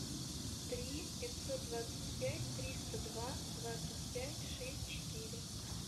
три пятьсот двадцать пять триста два двадцать пять шесть четыре